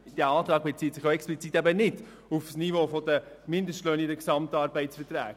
Dieser Antrag bezieht sich explizit eben nicht auf das Niveau der Mindestlöhne in den GAV.